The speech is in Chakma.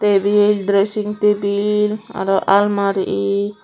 tebil dressing tebil aro almari